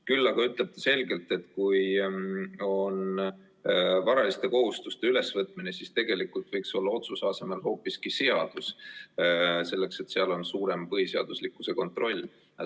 Küll aga ütleb ta selgelt, et kui on tegemist varaliste kohustuste ülevõtmisega, siis tegelikult võiks olla otsuse asemel hoopiski seadus, sellepärast et seal on suurem põhiseaduslikkuse kontroll.